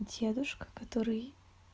дедушка который